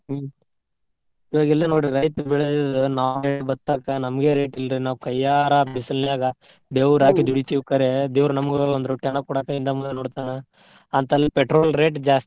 ಹ್ಮ್ ಇವಾಗ್ ಇಲ್ಲೇ ನೋಡ್ರಿ ರೈತ್ರ್ ಬೆಳೆದಿದ್ದಿದ್ ನಾವೇ ಭತ್ತ ಹಾಕ್ತೇವ್ ನಮ್ಗೆ rate ಇಲ್ರಿ. ನಾವ್ ಕೈಯಾರ ಬಿಸಲನ್ಯಾಗ ಬೆವರ್ ಹಾಕಿ, ದುಡೀತೀವಿ ಕರೆ ದೇವ್ರ್ ನಮ್ಗ್ ಒಂದ್ ರೂಪಾಯಿನೂ ಕೊಡಾಕ್ ಹಿಂದ್ ಮುಂದ್ ನೋಡ್ತಾನ ಅಂತ ಇಲ್ಲ್ petrol rate ಜಾಸ್ತಿ